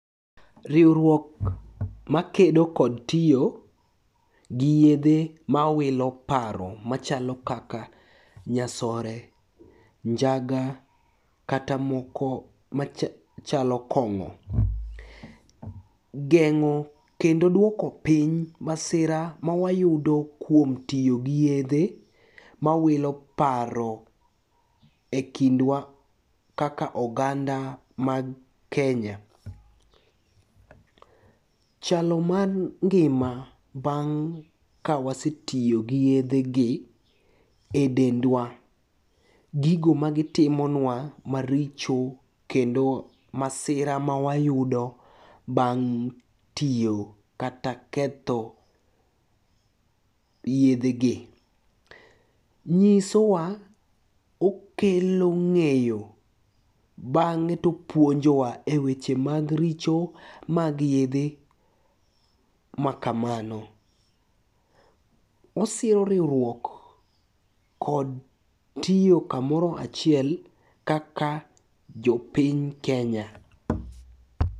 Riwruok makedo kod tiyo gi yedhe mawilo paro machalo kaka nyasore, njaga kata moko machalo kong'o. Geng'o kendo duoko piny masira mawayudo kuom tiyo gi yedhe mawilo paro e kindwa kaka oganda mag Kenya. Chalo mar ngima bang' ka wasetiyo gi yedhegi e dendwa gigo magitimonwa maricho kendo masira mawayudo bang' tiyo kata ketho yedhegi. Nyisowa okelo ng'eyo bang'e topuonjowa e weche mag richo mag yedhe makamano. Osiro riwruok kod tiyo kamoro achiel kaka jopiny Kenya.